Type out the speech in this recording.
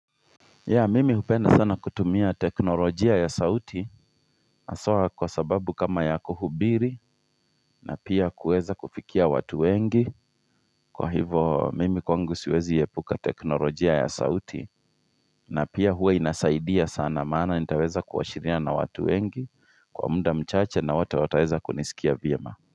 Mimi hupenda sana kutumia teknolojia ya sauti haswa kwa sababu kama ya kuhubiri na pia kuweza kufikia watu wengi kwa hivo mimi kwangu siwezi epuka teknolojia ya sauti na pia huwa inasaidia sana maana nitaweza kuwasiliana na watu wengi kwa muda mchache na watu wataeza kunisikia vyema.